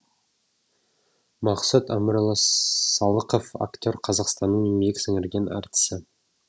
мақсұт әмірұлы салықов актер қазақстанның еңбек сіңірген артисі